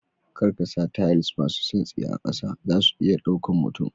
Kar kasa tiles masu santsi a kasa zasu iya ɗaukan mutum.